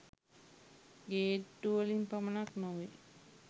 ගේට්ටු වලින් පමණක් නොවේ.